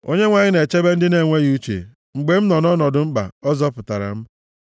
Onyenwe anyị na-echebe ndị na-enweghị uche; mgbe m nọ nʼọnọdụ mkpa, ọ zọpụtara m.